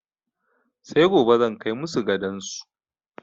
Sai gobe zan kai masu gadon su.